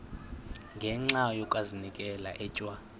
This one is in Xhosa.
ngenxa yokazinikela etywa